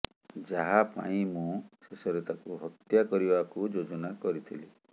ଯାହା ପାଇଁ ମୁଁ ଶେଷରେ ତାକୁ ହତ୍ୟା କରିବାକୁ ଯୋଜନା କରିଥିଲି